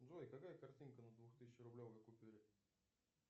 джой какая картинка на двух тысячи рублевой купюре